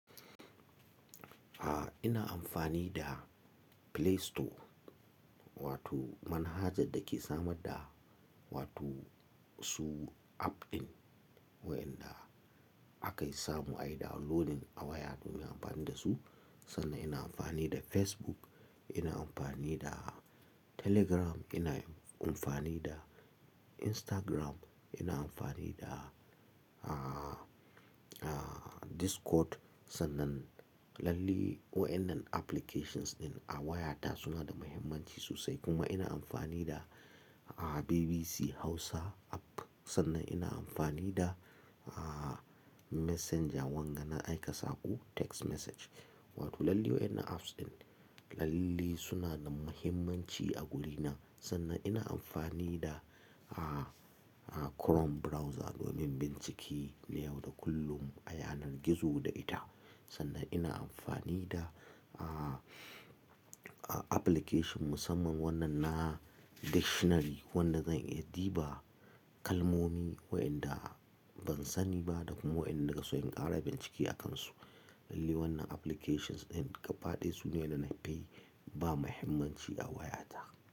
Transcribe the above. A'a, ina amfani da Play Store wato manhajar da ke samar da wato su app ɗin waɗanda ake samu a yi downloading a waya domin a yi amfani da su. Sannan ina amfani da Facebook, ina amfani da Telegram, ina amfani da Instagram, ina amfani da, ah, ah, Discord. Sannan lallai waɗannan applications ɗin a waya ta su na da muhimmanci sosai. Kuma ina amfani da BBC Hausa app. Sannan ina amfani da Messenger wanga na aika saƙo text message. Wato lallai waƴannan apps ɗin lallai su na da muhimmanci a wuri na. Sannan ina amfani da, Chrome browser domin bincike na yau da kullum, a yanar gizo da ita. Sannan ina amfani da application musamman wannan na dictionary wanda zan iya duba kalmomi waɗanda ban sani ba da kuma waɗanda in so in ƙara bincike a kansu. Lallai wannan applications ɗin gaba ɗaya su ne waƴanda na fi ba wa muhimmanci a wayata.